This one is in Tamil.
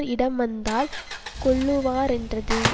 இடம் வந்தால் கொல்லுவரென்றது